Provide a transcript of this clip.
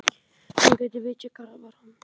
Hún geti vitjað grafar hans.